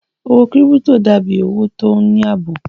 Owó kírípítò dà bí owó tó ní àbò